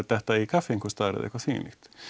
detta í kaffi eða eitthvað þvíumlíkt